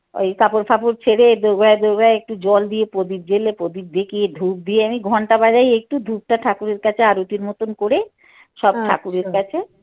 ওই কাপড় ফাপড় ছেড়ে দোর গোড়ায় দোর গোড়ায় একটু জল দিয়ে পদীপ জ্বেলে পদীপ দেখিয়ে ধুপ দিয়ে আমি ঘন্টা বাজাই ধুপটা ঠাকুরের কাছে আরতির মতন করে সব ঠাকুরের কাছে